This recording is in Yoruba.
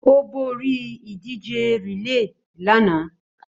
Ó borí ìdíje relay lánàá.